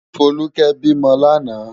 Foluke bi mò làná